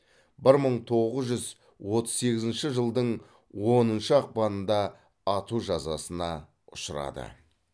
бір мың тоғыз жүз отыз сегізінші жылдың оныншы ақпанында ату жазасына ұшырады